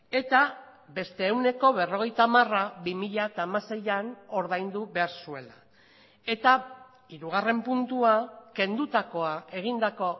eta beste ehuneko berrogeita hamara bi mila hamaseian ordaindu behar zuela eta hirugarren puntua kendutakoa egindako